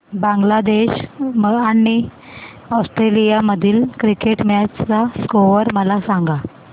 बांगलादेश आणि ऑस्ट्रेलिया मधील cricket match चा स्कोअर मला सांगा